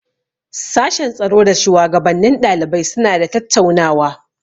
Sashen tsaro da shuwagabannin ɗalibai suna da tattaunawa.